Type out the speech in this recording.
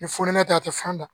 Ni funɛ ta tɛ fan na